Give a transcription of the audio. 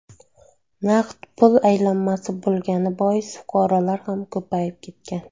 Naqd pul aylanmasi bo‘lgani bois, fuqarolar ham ko‘payib ketgan.